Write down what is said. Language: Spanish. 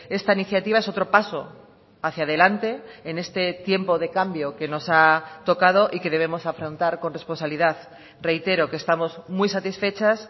esta iniciativa es otro paso hacia adelante en este tiempo de cambio que nos ha tocado y que debemos afrontar con responsabilidad reitero que estamos muy satisfechas